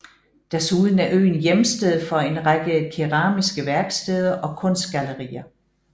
Desuden er øen hjemsted for en række keramiske værksteder og kunstgallerier